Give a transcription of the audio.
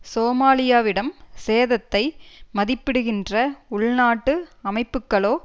சோமாலியாவிடம் சேதத்தை மதிப்பிடுகின்ற உள்நாட்டு அமைப்புக்களோ